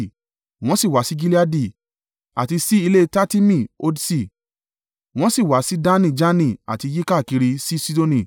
Wọ́n sì wá sí Gileadi, àti sí ilé Tatimi Hodṣi; wọ́n sì wá sí Dani Jaani àti yíkákiri sí Sidoni.